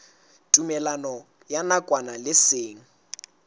tumellano ya nakwana le seng